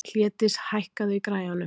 Hlédís, hækkaðu í græjunum.